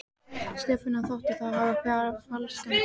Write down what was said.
Stefáni þótti það hafa falskan hljóm.